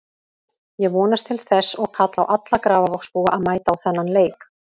Ég vonast til þess og kalla á alla Grafarvogsbúa að mæta á þennan leik.